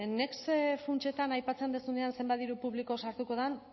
next funtsetan aipatzen duzunean zenbat diru publiko sartuko den